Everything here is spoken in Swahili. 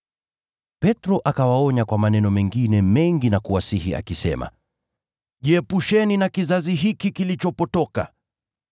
Petro akawaonya kwa maneno mengine mengi na kuwasihi akisema, “Jiepusheni na kizazi hiki kilichopotoka.”